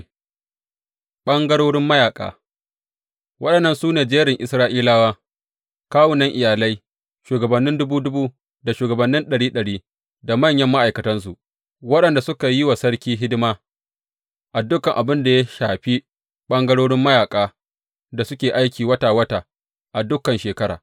Ɓangarorin mayaƙa Wannan shi ne jerin Isra’ilawa, kawunan iyalai, shugabannin dubu dubu da shugabannin ɗari ɗari, da manyan ma’aikatansu, waɗanda suka yi wa sarki hidima a dukan abin da ya shafi ɓangarorin mayaƙan da suke aiki wata wata a dukan shekara.